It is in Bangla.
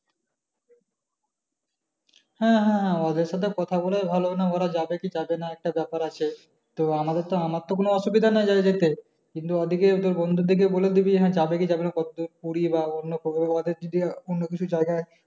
হ্যাঁ হ্যাঁ হ্যাঁ ওদের সাথে কথা বলেই ভালো কারন ওরা যাবে কি যাবে না একটা ব্যাপার আছে তো আমাদের তো আমার তো কোনো অসুবিধা নেই যেতে কিন্তু ওদেরকে বলে দিবি যাবে কি যাবে না বলতে পুরি বা অন্য কিছু জায়গা,